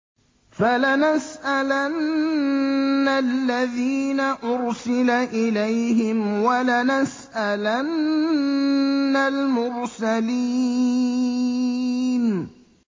فَلَنَسْأَلَنَّ الَّذِينَ أُرْسِلَ إِلَيْهِمْ وَلَنَسْأَلَنَّ الْمُرْسَلِينَ